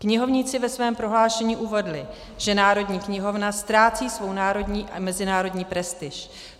Knihovníci ve svém prohlášení uvedli, že Národní knihovna ztrácí svou národní a mezinárodní prestiž.